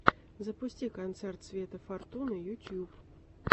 запусти концерт светы фортуны ютуб